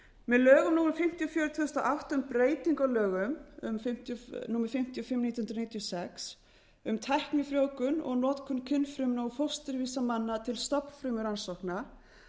með lögum númer fimmtíu og fjögur tvö þúsund og átta um breytingu á lögum númer fimmtíu og fimm nítján hundruð níutíu og sex um tæknifrjóvgun og notkun kynfrumna og fósturvísa manna til stofnfrumurannsókna